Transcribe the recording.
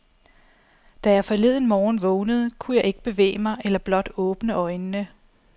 Da jeg forleden morgen vågnede, kunne jeg ikke bevæge mig eller blot åbne øjnene.